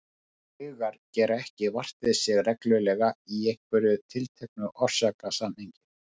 Draugar gera ekki vart við sig reglulega í einhverju tilteknu orsakasamhengi.